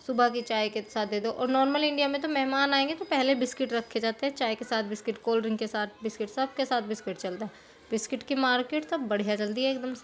सुबह के चाय के साथ दे दो और नॉर्मली इंडिया में तो मेहमान आएँगे तो पहैले बिस्किट रखे जाते है| चाय के साथ बिस्किट कोल्डड्रिंक के साथ बिस्किट सबके साथ बिस्किट चलता है| बिस्किट की मार्केट तो बढ़िया चलती है| एकदम से --